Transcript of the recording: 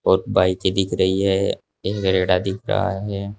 और बाइके दिख रही है क्रेडा दिख रहा है।